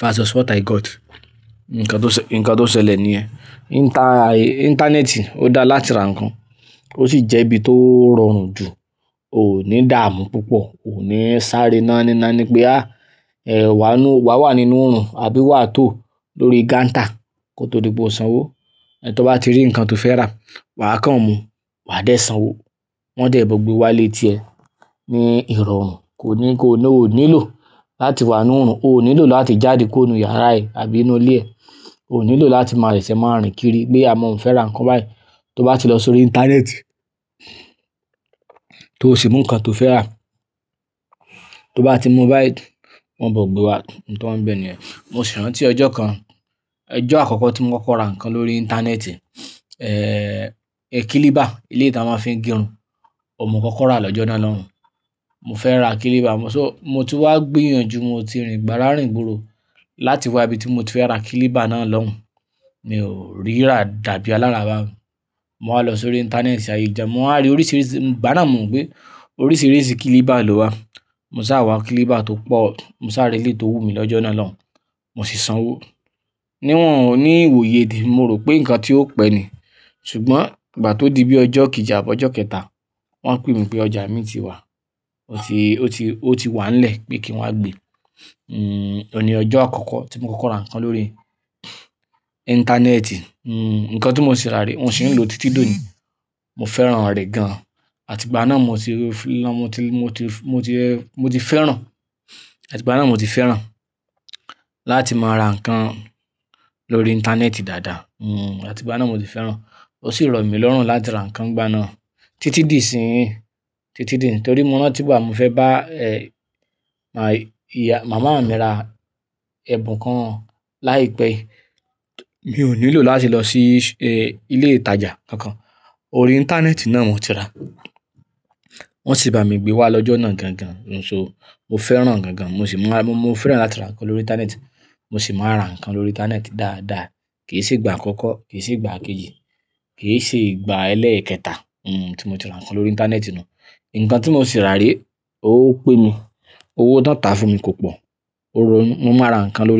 versus what i got. Ǹkan tó ṣẹ́, ǹkan tó ṣẹlẹ̀ níyẹn. Inta, ìntanẹ́ẹ̀tì ó dára láti ra nǹkan ó sì jẹ́ ibi tó rọrùn jù. O ò ní dààmú púpọ̀, o ò ní sáré iná nína ní pé a, eh wà á nú, wà á wà nínú oòrùn àbí wà á tó lórí gántà kó tó di pe o sanwó. Ẹ̀ tó bá ti rí nǹkan tó fẹ́ rà, wà á kàn mú, wà á dé sanwó, wọ́n de bọ́ gbé wá lé tí ẹ ní ìrọ̀rùn. Kò ní kó, o ò nílò láti wà nínú oòrùn, o ò nílò láti jáde kó inú yàrá ẹ àbí inú ilé ẹ. O ò nílò láti máa rẹ̀sẹ̀ máa rìn kiri pé a mò ń fẹ́ ra nǹkan báyìí. Tó bá ti lọ sórí ìntanẹ́ẹ̀tì tó sì mú nǹkan tó fẹ́ rà, tó bá ti mú báyìí wọ́n bọ́ gbé wá. Nǹkan wọ́n bẹ̀ ni ẹ́. Mo sì rántí ọjọ́ kan, ọjọ́ àkọ́kọ́ tí mo kọ́kọ́ ra nǹkan lórí ìntanẹ́ẹ̀tì, eh kiliba, ilé tí a ma fi ń gérun. Ọ̀n mo kọ́kọ́ rà lọ́jọ́ náà lọ́hùn. Mo fẹ́ ra kiliba, mo so mo ti wá gbìyànjú, mo ti rìn gbàrà rìn gbòòrò láti wá ibi tí mo ti fẹ́ ra kiliba náà lọ́hùn. Mi o rira dàbí alara bahun mo wá lọ sórí ìntanẹ́ẹ̀tì, àìjà. Mo wá rí oríṣiríṣi, màá náà mọ̀ pé oríṣiríṣi kiliba ló wà. Mo sá wá kiliba tó pọ̀, mo sá rí eléyi tó wù mí lọ́jọ́ náà lọ́hùn, mo sì sanwó. Ní wọ́n ò ní ìwòye temi, mo rò pé nǹkan tí ó pẹ́ ni. Ṣùgbọ́n ìgbà tó di bí ọjọ́ kejì àbọ́ ọjọ́ kẹta wọ́n pè mí pé ọjà mi ti wà. Ó ti, ó ti, ó ti wà nílẹ̀ pé kí n wá gbé. N n ọ̀ ní ọjọ́ àkọ́kọ́ tí mo kọ́kọ́ ra nǹkan lórí ìntanẹ́ẹ̀tì. N nǹkan tí mo sì rà rí, mo sì ń lò títí tòní. Mo fẹ́ràn rẹ̀ gan. Àti ìgbà náà mo ti, lọ́n, mo ti, mo ti, mo ti, mo ti fẹ́ràn, àti ìgbà náà mo ti fẹ́ràn láti máa ra nǹkan lórí ìntanẹ́ẹ̀tì dáadáa. N n àti ìgbà náà mo ti fẹ́ràn. Ó sì rọ mí lọ́rùn láti ra nǹkan gbana. Títí di ìsín, títí di nítorí mò ń rán tígbà mo fẹ́ bá eh ìyá, màmá mi ra ẹbùn kan láìpẹ́ yìí. Mi ò nílò láti lọ sí eh ilé ìtajà kankan. Orí ìntanẹ́ẹ̀tì náà mo ti rà. Wọ́n sì bá mi gbé wá lọ́jọ́ náà gan gan. So mo fẹ́ràn gan gan, mo sì máa, mo fẹ́ràn láti ra nǹkan lórí ìntanẹ́ẹ̀tì. Mo sì máa ra nǹkan lórí ìntanẹ́ẹ̀tì dáadáa. Ki se gba akoko, ki se gba ikeji, ke se ìgbà eleketa ti mo ti ran kan lórí intaneti nu. Nkan ti mo si ra re, o pe mi. Owó tan tà fún mi kò pọ̀. Ó rọ, mo máa ra nǹkan lórí.